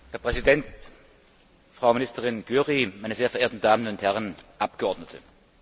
Herr Präsident, Frau Ministerin Győri, meine sehr verehrten Damen und Herren Abgeordnete!